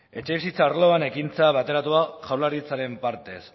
etxebizitza arloan ekintza bateratua jaurlaritzaren partez